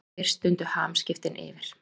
Þá fyrst dundu hamskiptin yfir.